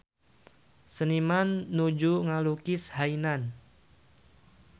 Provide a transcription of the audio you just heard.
Seniman nuju ngalukis Hainan